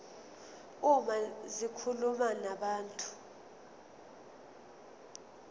uma zikhuluma nabantu